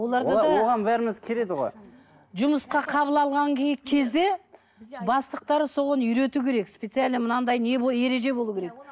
оған бәріміз келеді ғой жұмысқа қабыл алған кезде бастықтары соған үйрету керек специально мынадай ереже болуы керек